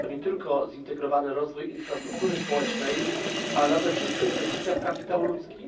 To nie tylko zintegrowany rozwój infrastruktury społecznej, ale nade wszystko inwestycja w kapitał ludzki.